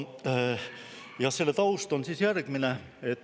Ja selle taust on järgmine.